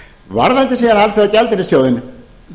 varðandi síðan alþjóðagjaldeyrissjóðinn